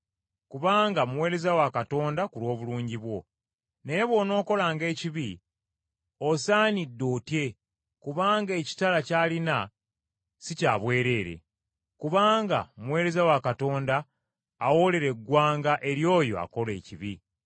kubanga muweereza wa Katonda ku lw’obulungi bwo. Naye bw’onookolanga ekibi, osaanidde otye kubanga ekitala ky’alina si kya bwereere, kubanga muweereza wa Katonda awoolera eggwanga eri oyo akola ekibi.